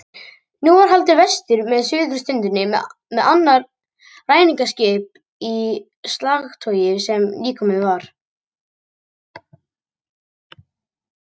Nú var haldið vestur með suðurströndinni með annað ræningjaskip í slagtogi sem nýkomið var.